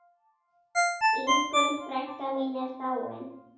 Ingunn frænka mín er dáin.